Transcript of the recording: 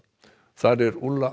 þar er